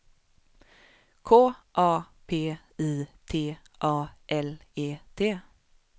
K A P I T A L E T